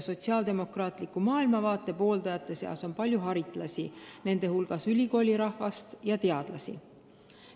Sotsiaaldemokraatliku maailmavaate pooldajate seas on palju haritlasi, nende hulgas ülikoolide rahvast ja teadlasi.